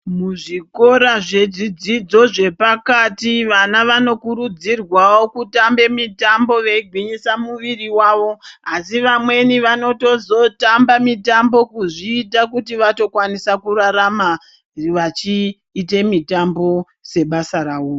Muzvikora zvezvidzidzo zvepakati vana vanokurudzirwawo kutamba mitambo veigwinyisa muviri wavo, asi vamweni vanotozotamba mitambo kuzviita kuti vatokwanisa kurarama vachiite mitambo sebasa ravo.